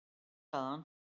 """Jú, sagði hann."""